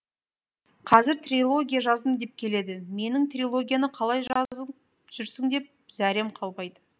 қазір трилогия жаздым деп келеді менің трилогияны қалай жазып жүрсің деп зәрем қалмайды